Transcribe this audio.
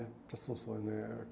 Para essas funções, né?